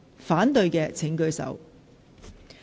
反對的請舉手。